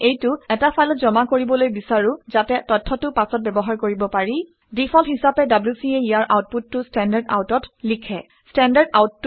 আমি এইটো এটা ফাইলত জমা কৰিবলৈ বিচাৰো ঘাতে তথ্যটো পাছত ব্যৱহাৰ কৰিব পাৰি। ডিফল্ট হিচাপে wc এ ইয়াৰ আউটপুটটো standardout অত লিখে